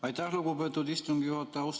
Aitäh, lugupeetud istungi juhataja!